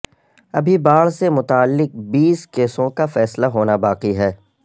ابھی باڑ سے متعلق بیس کیسوں کا فیصلہ ہونا باقی ہے